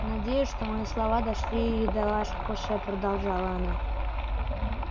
надеюсь что мои слова дошли и до ваших ушей продолжала она